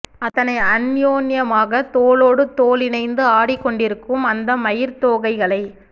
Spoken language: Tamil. அத்தனை அந்நியோன்யமாகத் தோளோடு தோளி ணைந்து ஆடிக்கொண்டிருக்கும் அந்த மயிற்தோகை களை